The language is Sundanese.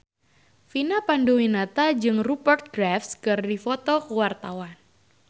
Vina Panduwinata jeung Rupert Graves keur dipoto ku wartawan